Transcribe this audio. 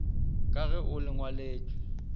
ka ge o le ngwaletšwe